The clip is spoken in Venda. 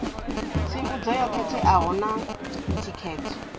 tsivhudzo yo khetheaho na thikedzo